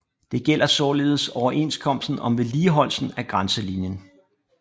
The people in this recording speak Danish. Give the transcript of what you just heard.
Det gælder således overenskomsten om vedligeholdelsen af grænselinjen